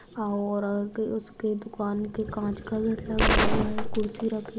our all तो इसके दुकान के कांच का गेट लगा हुआ है कुर्शी रखी--